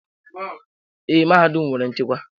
Ee, mahadum anyị nwere nchekwa.